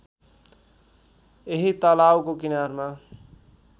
यही तलाउको किनारमा